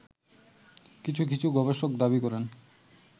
কিছু কিছু গবেষক দাবি করেন